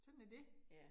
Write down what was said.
Sådan er det